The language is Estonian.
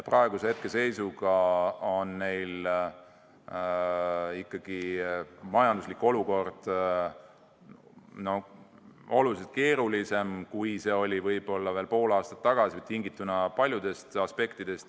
Praeguses seisus on neil ikkagi majanduslik olukord tingituna paljudest aspektidest märksa keerulisem, kui see oli näiteks veel pool aastat tagasi.